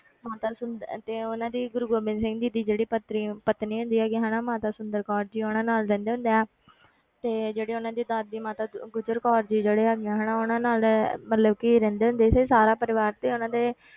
ਮਾਤਾ ਸੁੰਦ~ ਤੇ ਉਹਨਾਂ ਦੀ ਗੁਰੂ ਗੋਬਿੰਦ ਸਿੰਘ ਜੀ ਦੀ ਜਿਹੜੀ ਪਤਰੀ ਪਤਨੀ ਹੁੰਦੀ ਹੈਗੀ ਆ ਹਨਾ ਮਾਤਾ ਸੁੰਦਰ ਕੌਰ ਜੀ ਉਹਨਾਂ ਨਾਲ ਰਹਿੰਦੇ ਹੁੰਦੇ ਆ ਤੇ ਜਿਹੜੀ ਉਹਨਾਂ ਦੀ ਦਾਦੀ ਮਾਤਾ ਗੁਜਰ ਕੌਰ ਜੀ ਜਿਹੜੇ ਹੈਗੇ ਆ ਹਨਾ ਉਹਨਾਂ ਨਾਲ ਮਤਲਬ ਕਿ ਰਹਿੰਦੇ ਹੁੰਦੇ ਸੀ ਸਾਰਾ ਪਰਿਵਾਰ ਤੇ ਉਹਨਾਂ ਦੇ